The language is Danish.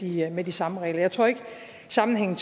videre med de samme regler jeg tror ikke at sammenhængen